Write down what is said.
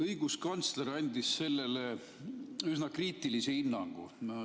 Õiguskantsler andis sellele üsna kriitilise hinnangu.